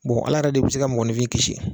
ala yɛrɛ de bɛ se ka mɔgɔnifin kisi.